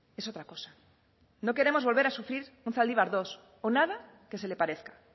es otra cosa no queremos volver a sufrir un zaldibar dos o nada que se le parezca